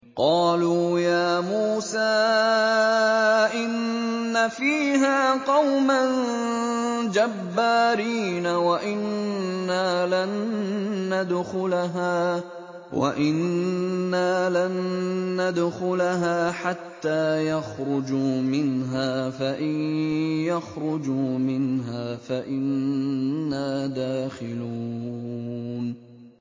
قَالُوا يَا مُوسَىٰ إِنَّ فِيهَا قَوْمًا جَبَّارِينَ وَإِنَّا لَن نَّدْخُلَهَا حَتَّىٰ يَخْرُجُوا مِنْهَا فَإِن يَخْرُجُوا مِنْهَا فَإِنَّا دَاخِلُونَ